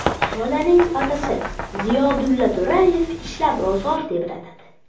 Bolaning otasi Ziyodulla To‘rayev ishlab ro‘zg‘or tebratadi.